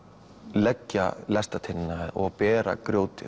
leggja lestarteinana og bera grjótið